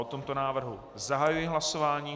O tomto návrhu zahajuji hlasování.